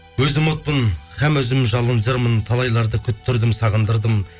өзім отпын һәм өзім жалын жырмын талайларды күттірдім сағындырдым